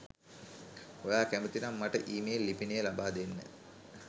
ඔයා කැමති නම් මට ඊමේල් ලිපිනය ලබාදෙන්න